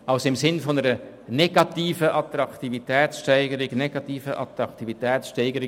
Das Anliegen ist eine negative Attraktivitätssteigerung.